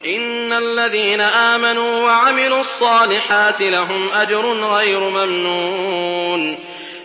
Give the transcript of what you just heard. إِنَّ الَّذِينَ آمَنُوا وَعَمِلُوا الصَّالِحَاتِ لَهُمْ أَجْرٌ غَيْرُ مَمْنُونٍ